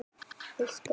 Elsku Steina.